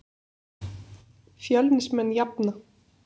Fjölnismenn jafna.